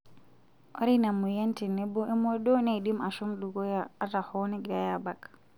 Ore ina moyian tenebo emodoo neidim aashom dukuya ata hoo negiorai aabak.